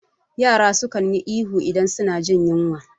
Yara suka yi ihu idan suna jin yinwa